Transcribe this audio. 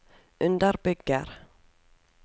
underbygger